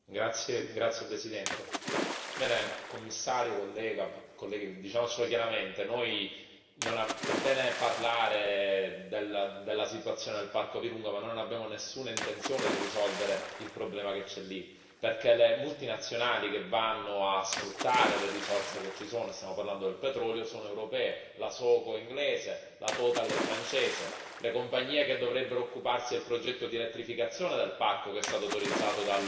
Signor Presidente, onorevoli colleghi, Commissario, diciamocelo chiaramente è bene parlare della situazione del parco di Virunga, ma non abbiamo nessuna intenzione di risolvere il problema che c'è lì, perché le multinazionali che vanno a sfruttare le risorse che ci sono stiamo parlando del petrolio sono europee la Soco è inglese, la Total è francese. Le compagnie che dovrebbero occuparsi del progetto di elettrificazione del parco, che è stato autorizzato